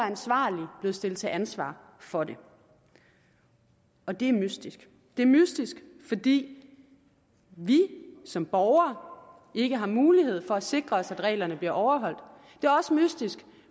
ansvarlige blevet stillet til ansvar for det og det er mystisk det er mystisk fordi vi som borgere ikke har mulighed for at sikre os at reglerne bliver overholdt det er også mystisk